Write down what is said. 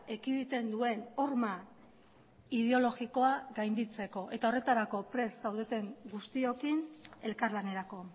ekiditen duen horma ideologikoa gainditzeko eta horretarako prest zaudeten guztiokin elkarlanerako